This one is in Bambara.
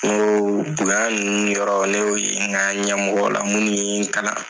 Nko bonya ninnu yɔrɔ ne y'o ye n ka ɲɛmɔgɔw la minnu ye n kalan.